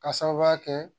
K'a sababuya kɛ